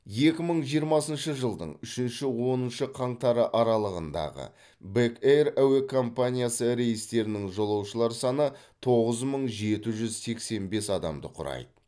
екі мың жиырмасыншы жылдың үшінші оныншы қаңтары аралығындағы бек эйр әуе компаниясы рейстерінің жолаушылар саны тоғыз мың жеті жүз сексен бес адамды құрайды